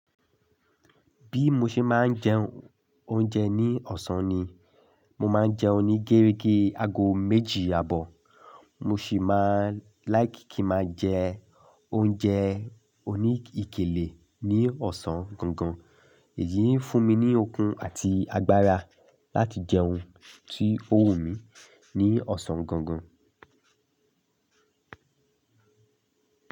Bí mo ṣe máa ń jẹ oúnjẹ ní ọ̀sán ni, mo máa ń jẹ oní géregé aago méjì àbọ̀, mo sì máa like kí máa jẹ oúnjẹooní okele ní ọ̀sán gangan. Èyí ń fún mi ní okun àti agbára láti jẹ ohun tí ó wù mí ní ọ̀sán gangan.